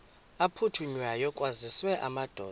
aphuthunywayo kwaziswe amadoda